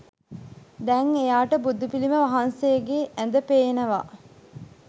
දැන් එයාට බුදුපිළිම වහන්සේගේ ඇද පේනවා.